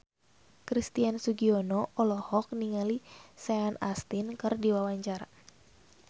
Christian Sugiono olohok ningali Sean Astin keur diwawancara